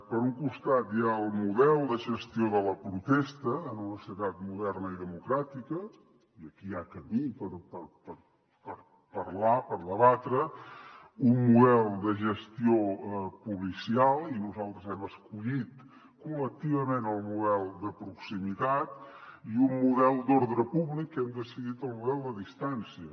per un costat hi ha el model de gestió de la protesta en una societat moderna i democràtica i aquí hi ha camí per parlar per debatre un model de gestió policial i nosaltres hem escollit col·lectivament el model de proximitat i un model d’ordre públic que hem decidit el model a distància